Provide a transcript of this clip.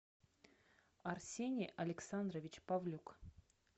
арсений александрович павлюк